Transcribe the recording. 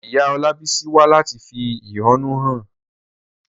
Ìyá Olabisi wá láti fi ẹ̀hónú hàn.